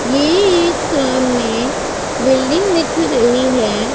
ये एक सामने बिल्डिंग दिख रही है।